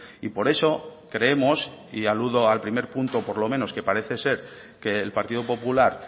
y por eso creemos y aludo al primer punto por lo menos que parece ser que el partido popular